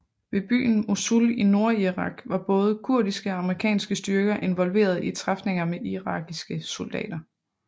Ved byen Mosul i nordirak var både kurdiske og amerikanske styrker involveret i træfninger med irakiske soldater